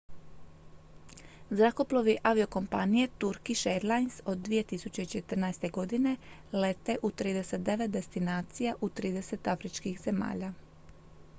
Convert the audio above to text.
zrakoplovi aviokompanije turkish airlines od 2014. godine lete u 39 destinacija u 30 afričkih zemalja